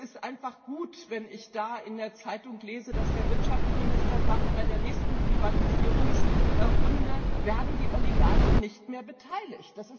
Es ist einfach gut, wenn ich in der Zeitung lese, dass der Wirtschaftsminister sagt Bei der nächsten Privatisierungsrunde werden die Oligarchen nicht mehr beteiligt.